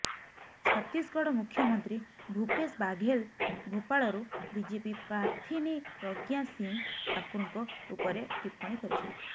ଛତିଶଗଡ ମୁଖ୍ୟମନ୍ତ୍ରୀ ଭୁପେଶ ବାଘେଲ ଭୋପାଳରୁ ବିଜେପି ପ୍ରାର୍ଥିନୀ ପ୍ରଜ୍ଞା ସିଂହ ଠାକୁରଙ୍କ ଉପରେ ଟିପ୍ପଣୀ କରିଛନ୍ତି